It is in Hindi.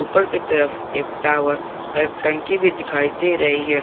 ऊपर के तरफ एक टावर और एक टंकी भी दिखाई दे रही है।